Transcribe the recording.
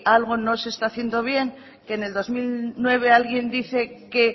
algo no se está bien que en el dos mil nueve alguien dice que